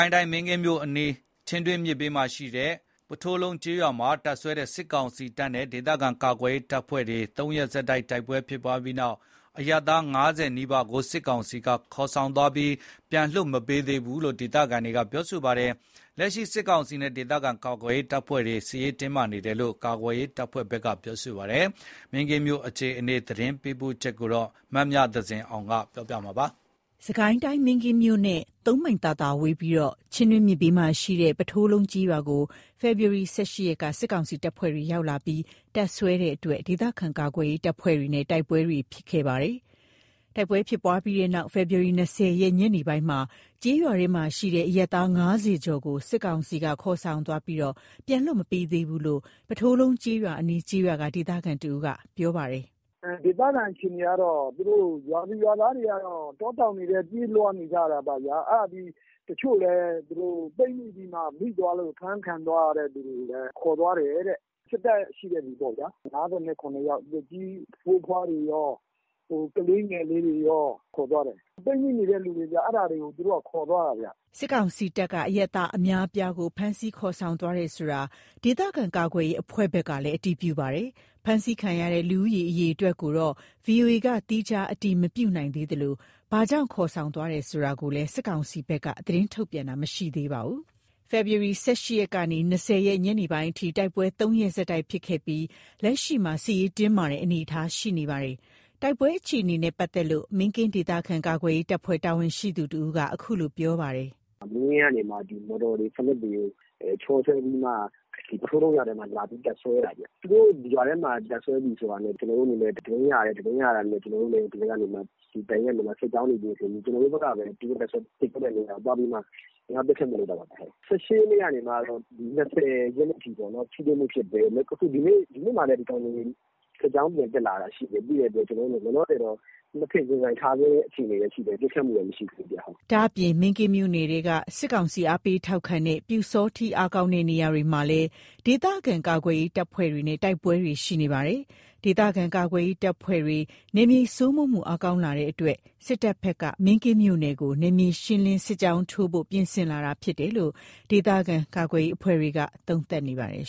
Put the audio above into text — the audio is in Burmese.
ုင်းတိုင်း မင်းကင်းမြို့အနီး ချင်းတွင်းမြစ်ဘေးမှာရှိတဲ့ ပုထိုးလုံးကျေးရွာမှာ တပ်စွဲတဲ့ စစ်ကောင်စီတပ်နဲ့ ဒေသခံကာကွယ်ရေးတပ်ဖွဲ့တွေ ၃ ရက်ဆက်တိုက် တိုက်ပွဲဖြစ်ပွားပြီးနောက် အရပ်သား ၅၀ နီးပါးကို စစ်ကောင်စီကခေါ်ဆောင်သွားပြီး ပြန်လွှတ်မပေးသေးဘူးလို့ ဒေသခံတွေက ပြောပါတယ်။ လက်ရှိ စစ်ကောင်စီနဲ့ ဒေသခံကာကွယ်ရေးတပ်ဖွဲ့တွေ စစ်ရေးတင်းမာနေတယ်လို့ ကာကွယ်ရေးအဖွဲ့တွေဘက်က ပြောပါတယ်။ မင်းကင်းမြို့အခြေအနေ သတင်းပေးပို့ချက်ကို မမြသဇင်အောင်က ပြောပြပါမယ်။ စစ်ကိုင်းတိုင်း မင်းကင်းမြို့နဲ့ ၃ မိုင်သာသာဝေးပြီး ချင်းတွင်းမြစ်ဘေးမှာရှိတဲ့ ပုထိုးလုံးကျေးရွာကို ဖေဖော်ဝါရီ ၁၈ ရက်က စစ်ကောင်စီတပ်ဖွဲ့တွေ ရောက်ရှိလာပြီး တပ်စွဲတဲ့အတွက် ဒေသခံကာကွယ်ရေးတပ်ဖွဲ့တွေနဲ့ တိုက်ပွဲတွေ ဖြစ်ခဲ့တာပါ။ တိုက်ပွဲဖြစ်ပွားပြီးနောက် ဖေဖော်ဝါရီ ၂၀ ရက် ညနေပိုင်းမှာ ကျေးရွာထဲမှာရှိတဲ့ အရပ်သား ၅၀ ကျော်ကို စစ်ကောင်စီက ခေါ်ဆောင်သွားပြီး ပြန်လွှတ်မပေးသေးဘူးလို့ ပုထိုးလုံးကျေးရွာအနီးကျေးရွာက ဒေသခံတဦးက ပြောပါတယ်။ “ဒေသခံအခြေအနေက ရွာသူရွာသားတွေက တောတောင်တွေထဲ ပြေးလွှားနေကြရတာပေါ့ဗျာ။ အဲ့ဒါပြီးတော့ တချို့လည်း ပိတ်မိပြီးမှ မိသွားလို့ ဖမ်းခံရတဲ့သူတွေကိုလည်း ခေါ်သွားတယ်တဲ့ စစ်တပ်ရှိတဲ့ဆီပေါ့ဗျာ။ ၅၇ ယောက် အသက်ကြီးဖိုးဖွားတွေကော ကလေးငယ်တွေကော ခေါ်သွားတယ်။ လွှတ်မပေးသေးဘူး။ ပိတ်မိနေတဲ့သူတွေ အဲ့ဒါတွေကို သူတို့က ခေါ်သွားတာ။” စစ်ကောင်စီတပ်က အရပ်သားအများအပြားကို ဖမ်းဆီးခေါ်ဆောင်သွားတယ်ဆိုတာကို ဒေသခံကာကွယ်ရေး အဖွဲ့ဘက်ကလည်း အတည်ပြုပါတယ်။ ဖမ်းဆီးခံရတဲ့ လူဦးရေအရေအတွက်ကိုတော့ ဗွီအိုအေက သီးခြားအတည်မပြုနိုင်သေးသလို ဘာကြောင့် ခေါ်ဆောင်သွားတယ်ဆိုတာကိုလည်း စစ်ကောင်စီဘက်က သတင်းထုတ်ပြန်တာ မရှိသေးပါဘူး။ ဖေဖော်ဝါရီ ၁၈ ရက်ကနေ ၂၀ ရက် ညနေပိုင်းအထိ တိုက်ပွဲ ၃ ရက်ဆက်တိုက်ဖြစ်ခဲ့ပြီး လက်ရှိမှာ စစ်ရေးတင်းမာတဲ့အနေအထားရှိနေပါတယ်။ တိုက်ပွဲအခြေအနေနဲ့ပတ်သက်လို့ မင်းကင်းဒေသခံကာကွယ်ရေးတပ်ဖွဲ့ တာဝန်ရှိသူတဦးက အခုလို ပြောပါတယ်။ “မင်းကင်းကနေမှ မော်တော်တွေ ဖလက်တွေကို ချောဆွဲပြီးမှ ပုထိုးလုံးရွာထဲကို လာပြီး တပ်စွဲတာခင်ဗျ။ သူတို့ရွာထဲမှာ တပ်စွဲပြီဆိုတာနဲ့ ကျွန်တော်တို့အနေနဲ့ သတင်းရတယ်။ သတင်းရတာနဲ့ တပ်ရင်းကနေ စစ်ကြောင်းတွေ ပြင်ဆင်ပြီး ကျွန်တော်တို့ဘက်ကပဲ သူတို့တပ်စွဲတဲ့နေရာကိုသွားပြီး ဝင်ရောက်ပစ်ခတ်မှု လုပ်တာပါ။ ၁၈ ရက်ကနေ ၂၀ ရက်နေ့အထိ ထိတွေ့မှုဖြစ်တယ်။ ဒီနေ့မှာလည်း ဒီကောင်တွေ စစ်ကြောင်း ပြန်တက်လာတာရှိတယ် ရှိတဲ့အတွက် လောလောဆယ် ၂ ဖက် ရင်ဆိုင်ထားစဲပဲရှိတယ် ပစ်ခတ်မှုတော့ မရှိသေးဘူး။” ဒ့ါအပြင် မင်းကင်းမြို့နယ်ထဲက စစ်ကောင်စီ အားပေးထောက်ခံတဲ့ ပျူစောထီး အားကောင်းတဲ့ နေရာတွေမှာလည်း ဒေသခံကာကွယ်ရေး တပ်ဖွဲ့တွေနဲ့ တိုက်ပွဲတွေရှိနေပါတယ်။ ဒေသခံကာကွယ်ရေး တပ်ဖွဲ့တွေ နယ်မြေစိုးမိုးမှု အားကောင်းလာတဲ့အတွက် စစ်တပ်ဘက်က မင်းကင်းမြို့နယ်ကို နယ်မြေရှင်းလင်း စစ်ကြောင်းထိုးဖို့ ပြင်ဆင်လာတာ ဖြစ်တယ်လို့ ဒေသခံကာကွယ်ရေး အဖွဲ့တွေက သုံးသပ်နေပါတယ်